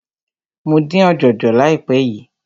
Mo dín ọ̀jọ̀jọ̀ láìpé yìí.